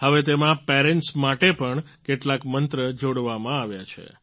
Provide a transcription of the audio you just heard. હવે તેમાં પેરન્ટ્સ માટે પણ કેટલાક મંત્ર જોડવામાં આવ્યા છે